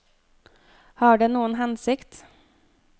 Har det noen hensikt?